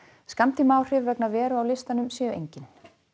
skammtímaáhrif vegna veru á listanum séu engin